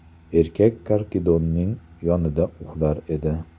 Erkak karkidonning yonida uxlar edi.